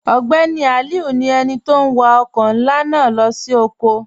Ogbeni Aliu ni ènì tó n wà ọkọ̀ nlá naa lọ sí ọ̀kọ̀.